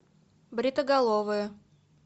бритоголовые